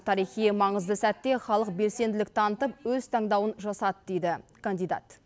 тарихи маңызды сәтте халық белсенділік танытып өз таңдауын жасады дейді кандидат